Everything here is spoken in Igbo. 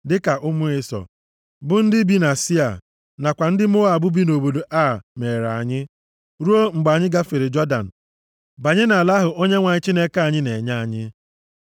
dịka ụmụ Ịsọ, bụ ndị bi na Sia, nakwa ndị Moab bi nʼobodo Ar meere anyị, ruo mgbe anyị gafere Jọdan banye nʼala ahụ Onyenwe anyị Chineke anyị na-enye anyị.”